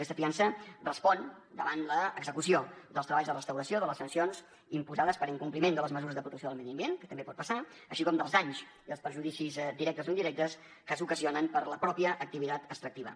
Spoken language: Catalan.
aquesta fiança respon davant l’execució dels treballs de restauració de les sancions imposades per incompliment de les mesures de protecció del medi ambient que també pot passar així com dels danys i els perjudicis directes o indirectes que s’ocasionen per la mateixa activitat extractiva